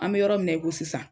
An be yɔrɔ min na i ko sisan